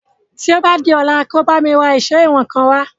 Tí o bá di ọ̀la kí o lọ bá mi ra èsó ìwọ̀n kan wá